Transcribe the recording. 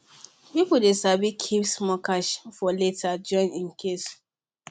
people dey sabi keep small cash for later just in case